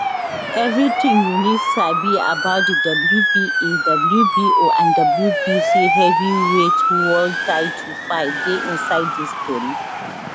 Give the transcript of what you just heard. evritin you need sabi about di wba wbo and wbc heavyweight world title fight dey inside dis tori